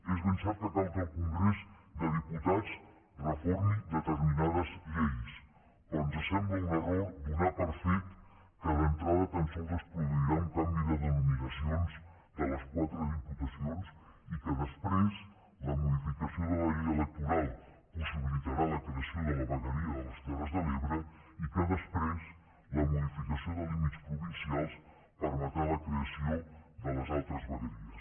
és ben cert que cal que el congrés dels diputats reformi determinades lleis però ens sembla un error donar per fet que d’entrada tan sols es produirà un canvi de denominacions de les quatre diputacions i que després la modificació de la llei electoral possibilitarà la creació de la vegueria de les terres de l’ebre i que després la modificació de límits provincials permetrà la creació de les altres vegueries